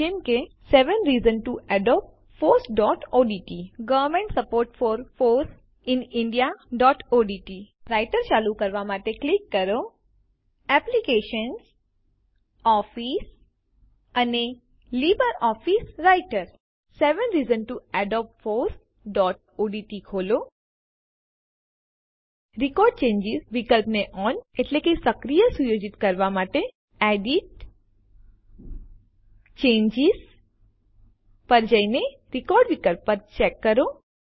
જેમ કે seven reasons to adopt fossઓડીટી government support for foss in indiaઓડીટી seven reasons to adopt fossઓડીટી ખોલો રેકોર્ડ ચેન્જીસ વિકલ્પને ઓન સક્રિય સુયોજિત કરવા માટે એડિટ → ચેન્જીસ પર જઈને રેકોર્ડ વિકલ્પને ચેક કરો